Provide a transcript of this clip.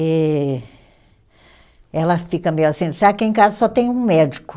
E ela fica meio assim, diz ah, aqui em casa só tem um médico.